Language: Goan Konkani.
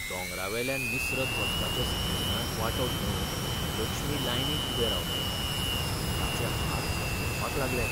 दोंगरावेल्यान निसरत वचपाच्या स्कियिंगांत वांटो घेवंक लक्ष्मी लायनींत उबें रावलें आनी ताचे हात कडकडपाक लागले.